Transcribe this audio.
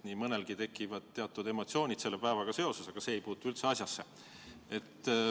Nii mõnelgi tekivad teatud emotsioonid selle päevaga seoses, aga see ei puutu üldse asjasse.